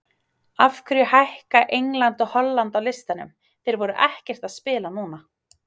Af hverju hækka England og Holland á listanum, þeir voru ekkert að spila núna?